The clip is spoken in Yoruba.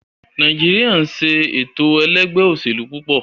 Nàìjíríà ń se ètò ẹlẹ́gbẹ́-òsèlú púpọ̀.